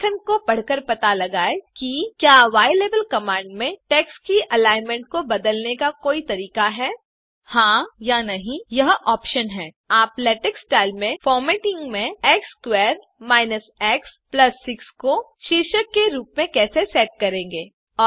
प्रलेखन को पढ़के पता लगाओ की ylabelकमांड में टेक्स्ट की अलाइनमेंट को बदलने का कोई तरीका है हा या नहीं यह पर्याय है और आखरी सवाल आप x2 5x6 को शीर्षक के रूप में लेटेक्स स्टाइल में कैसे फॉरमॅट करेंगे